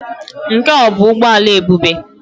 Nke a ọ bụ ụgbọ ala Ebube?